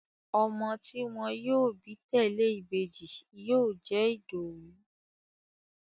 Ọmọ tí wọ́n yóò bí tẹ̀lẹ́ ìbejì yóò jẹ́ Ìdòwú